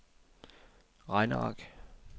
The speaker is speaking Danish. regneark